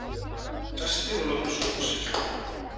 Æstir og látnir sofa úr sér